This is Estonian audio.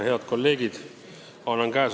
Head kolleegid!